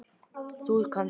Ekki von.